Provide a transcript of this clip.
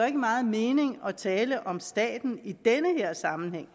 ikke meget mening at tale om staten i den her sammenhæng